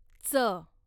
च